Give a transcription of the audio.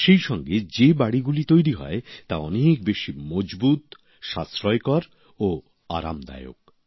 সেইসঙ্গে যে বাড়িগুলি তৈরি হয় তা অনেক বেশি মজবুত সাশ্রয়কর ও আরামদায়ক